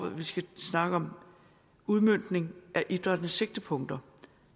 at vi skal snakke om udmøntning af idrættens sigtepunkter